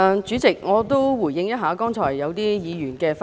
主席，我也回應一下剛才一些議員的發言。